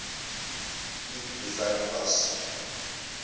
l koevert pas